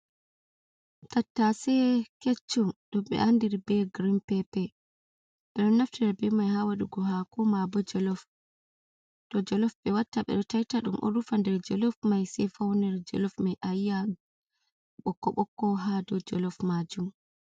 tattase kecchum dom be andiri be girin pepe be do naftira be mai ha wadugo hako ma bodo jolof be watta be do taita dum o rufa nder jolof mai sei fauner jolof mai ayiya bokko bokko ha do jolof majum.